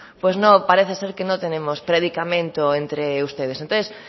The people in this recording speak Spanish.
pues parece ser que no tenemos predicamento entre ustedes entonces